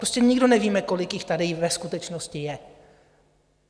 Prostě nikdo nevíme, kolik jich tady ve skutečnosti je.